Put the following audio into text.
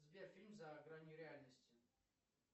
сбер фильм за гранью реальности